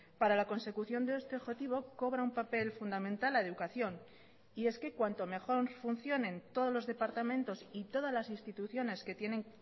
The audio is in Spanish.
para la consecución de este objetivo cobra un papel fundamental la educación y es que cuanto mejor funcionen todos los departamentos y todas las instituciones que tienen